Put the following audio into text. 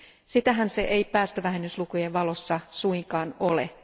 Sitähän se ei päästövähennyslukujen valossa suinkaan ole.